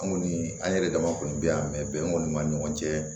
An kɔni an yɛrɛ dama kɔni bi yan mɛ bɛn kɔni ma ni ɲɔgɔn cɛ